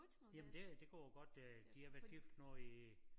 Jamen det det går godt øh de har været gift nu i